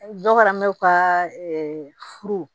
Dɔ fana bɛ u ka furu